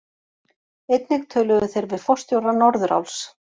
Einnig töluðu þeir við forstjóra Norðuráls